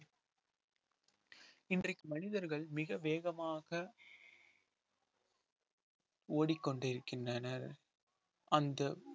இன்றைக்கு மனிதர்கள் மிக வேகமாக ஓடிக்கொண்டிருக்கின்றனர் அந்த